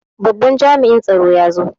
Babban jami'in tsaro ya zo.